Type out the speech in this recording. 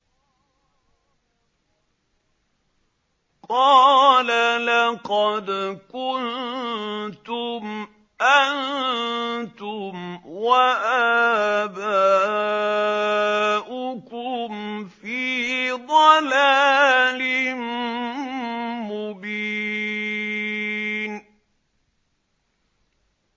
قَالَ لَقَدْ كُنتُمْ أَنتُمْ وَآبَاؤُكُمْ فِي ضَلَالٍ مُّبِينٍ